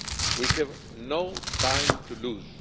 We have no time to lose.